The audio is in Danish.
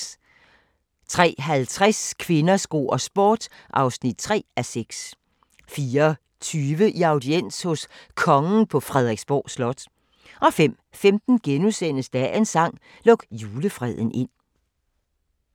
03:50: Kvinder, sko og sport (3:6) 04:20: I audiens hos Kongen på Frederiksborg Slot 05:15: Dagens sang: Luk julefreden ind *